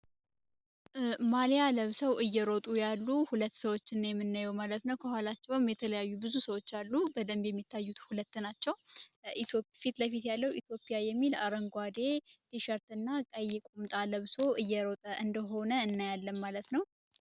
ማሊያ ለብሰው እየረጡ ያሉ ሁለት ሰዎችን ነው የምናየው ማለት ነው ከኋላቸውም የተለያዩ ብዙ ሰዎች አሉ በደንብ የሚታዩት ሁለት ናቸው ፊት ለፊት ያለው ኢትዮጵያ የሚል አረንጓዴ ቲሸርት እና ቀይ ቁምጣ ለብሶ እየሮጠ እንደሆነ እናያለን ማለት ነው።